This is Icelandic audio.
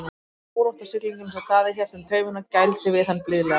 Hestinum var órótt á siglingunni svo Daði hélt um tauminn og gældi við hann blíðlega.